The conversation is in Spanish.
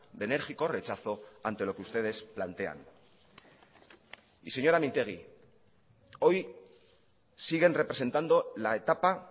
de enérgico rechazo ante lo que ustedes plantean y señora mintegi hoy siguen representando la etapa